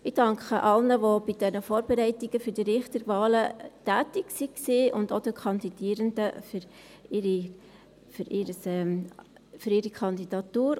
Ich danke allen, die bei den Vorbereitungen für die Richterwahlen tätig waren, und auch den Kandidierenden für ihre Kandidatur.